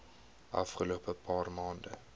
afgelope paar maande